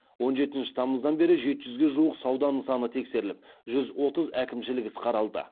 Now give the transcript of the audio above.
он жетінші тамыздан бері жеті жүзге жуық сауда нысаны тексеріліп жүз отыз әкімшілік іс қаралды